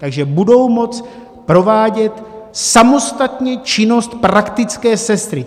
Takže budou moct provádět samostatně činnost praktické sestry.